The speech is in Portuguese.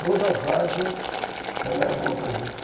Toda várzea, ela é boa para juta.